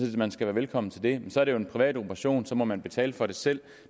man skal være velkommen til det men så er det jo en privat operation og så må man betale for det selv